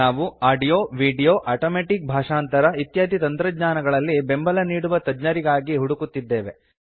ನಾವು audio video automatic ಭಾಷಾಂತರ ಇತ್ಯಾದಿ ತಂತ್ರಜ್ಞಾನಗಳಲ್ಲಿ ಬೆಂಬಲ ನೀಡುವ ತಜ್ಞರಿಗಾಗಿ ಹುಡುಕುತ್ತಿದ್ದೇವೆ